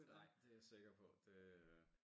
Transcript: Nej det jeg sikker på det øh